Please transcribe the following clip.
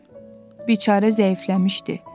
Biçarə zəifləmişdi.